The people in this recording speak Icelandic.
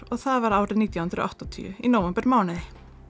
og það var árið nítján hundruð og áttatíu í nóvembermánuði